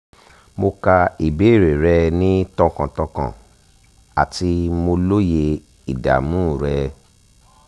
mo ka ìbéèrè rẹ ni tọkàntọkàn ati mo lóye ìdààmú rẹ